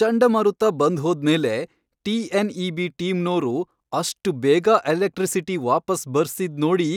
ಚಂಡಮಾರುತ ಬಂದ್ಹೋದ್ಮೇಲೆ ಟಿ.ಎನ್.ಇ.ಬಿ. ಟೀಮ್ನೋರು ಅಷ್ಟ್ ಬೇಗ ಎಲೆಕ್ಟ್ರಿಸಿಟಿ ವಾಪಸ್ ಬರ್ಸಿದ್ ನೋಡಿ